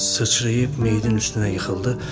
Sıçrayıb meydin üstünə yıxıldı.